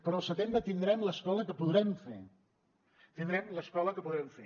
però al setembre tindrem l’escola que podrem fer tindrem l’escola que podrem fer